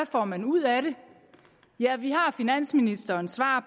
får man ud af det ja vi har finansministerens svar